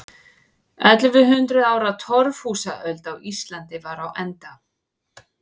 Ellefu hundruð ára torfhúsaöld á Íslandi var á enda.